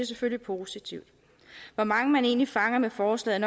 selvfølgelig positivt hvor mange man egentlig fanger med forslaget